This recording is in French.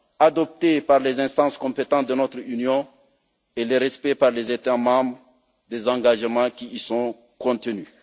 adoptés par les instances compétentes de notre Union et le respect par les États membres des engagements qui y sont contenus.